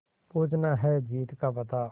पूछना है जीत का पता